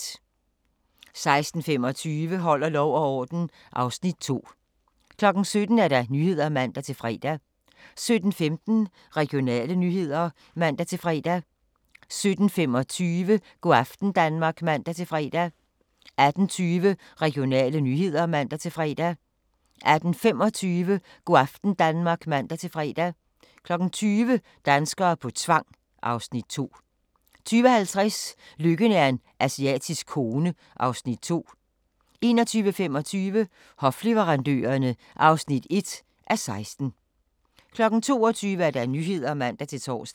16:25: Holder lov og orden (Afs. 2) 17:00: Nyhederne (man-fre) 17:16: Regionale nyheder (man-fre) 17:25: Go' aften Danmark (man-fre) 18:20: Regionale nyheder (man-fre) 18:25: Go' aften Danmark (man-fre) 20:00: Danskere på tvang (Afs. 2) 20:50: Lykken er en asiatisk kone (Afs. 2) 21:25: Hofleverandørerne (1:16) 22:00: Nyhederne (man-tor)